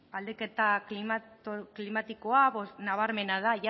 aldaketa klimatikoa nabarmena da